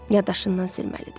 Yaddaşından silməlidir.